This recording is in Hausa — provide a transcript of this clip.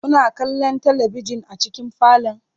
Kuna kallon talabijin a cikin falon?